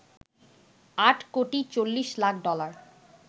৮ কোটি ৪০ লাখ ডলার